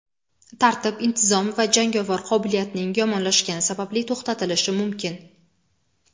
tartib-intizom va jangovar qobiliyatning yomonlashgani sababli to‘xtatilishi mumkin.